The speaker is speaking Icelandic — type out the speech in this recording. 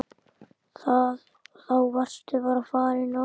Þá varstu bara farinn norður.